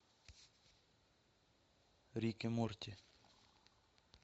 рик и морти